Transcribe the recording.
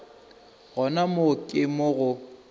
gona moo ke mo go